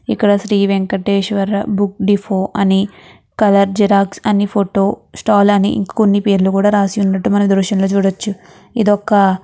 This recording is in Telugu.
ఇక్కడ శ్రీ వేంకటేశ్వర బుక్ డెపో అని కలర్ జిరాక్స్ అని ఫోటో స్టాల్ అని కొన్ని పేర్లు రాసి ఉండడం మనం ఈ దృశ్యం లో చూడచ్చు ఇదొక --